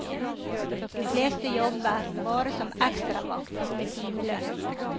De fleste jobber bare som ekstravakt med timelønn.